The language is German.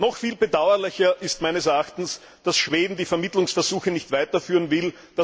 Noch viel bedauerlicher ist meines Erachtens, dass Schweden die Vermittlungsversuche nicht weiterführen will.